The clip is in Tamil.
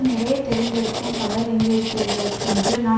நிறைய தெரிந்திருக்கும் பலர் இங்கு இருப்பீர்கள் என்று நான்